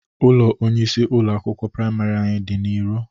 Ụlọ onyeisi ụlọ akwụkwọ praimarị anyị dị na iro.